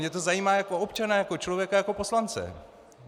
Mě to zajímá jako občana, jako člověka, jako poslance.